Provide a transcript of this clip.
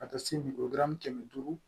Ka taa se biramu kɛmɛ duuru